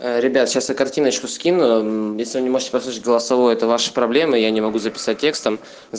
ребята картиночку скином если не можешь послать голосовой это ваша проблема я не могу записать